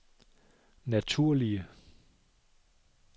naturlige